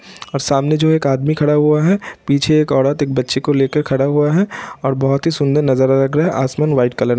और सामने जो है एक आदमी खड़ा हुआ है पीछे एक औरत एक बच्चे को ले कर खड़ा हुआ है और बहुत ही सुन्दर नज़ारा लग रहा है| असमान वाइट कलर --